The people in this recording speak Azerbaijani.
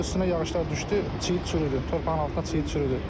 Sonra üstünə yağışlar düşdü, çiyid çürüdü, torpağın altına çiyid çürüdü.